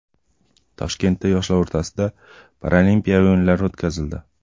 Toshkentda yoshlar o‘rtasida paralimpiya o‘yinlari o‘tkazildi.